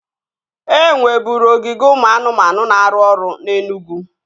E nweburu ogige ụmụ anụmanụ na-arụ ọrụ na Enugwu